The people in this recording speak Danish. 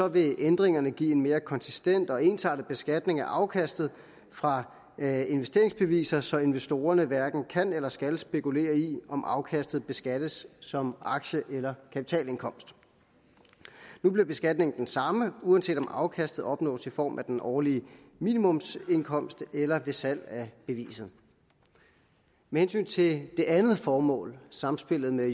vil ændringerne give en mere konsistent og ensartet beskatning af afkastet fra investeringsbeviser så investorerne hverken kan eller skal spekulere i om afkastet beskattes som aktie eller kapitalindkomst nu bliver beskatningen den samme uanset om afkastet opnås i form af den årlige minimumsindkomst eller ved salg af beviset med hensyn til det andet formål samspillet med